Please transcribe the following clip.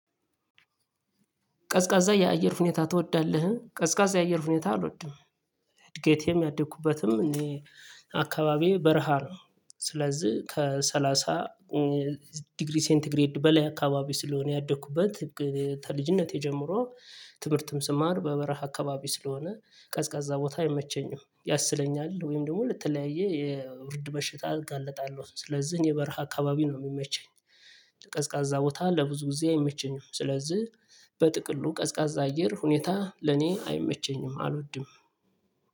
ቀዝቃዛ የአየር ሁኔታ ትወዳለህ? ቀዝቃዛ የአየር ሁኔታ አልወድም። እድገቴም ያደኩበትም እኔ አካባቢዬ በረሃ ነው። ስለዚህ ከሰላሳ ዲግሪ ሴንቲግሬድ በላይ አካባቢ ስለሆነ ያደኩበት ከልጅነቴ ጀምሮ ትምህርትም ስማር በበረሃ አካባቢ ስለሆነ ቀዝቃዛ ቦታ አይመቸኝም ያስለኛል ወይም ደግሞ ለተለያይ የብርድ በሽታ አጋልጣለሁ ስለዚህ እኔ በረሃ አካባቢ ነው የሚመቸኝ። ቀዝቃዛ ቦታ ለብዙ ጊዜ አይመቸኝም ስለዚህ በጥቅሉ ቀዝቃዛ አየር ሁኔታ ለኔ አይመቸኝም አልወድም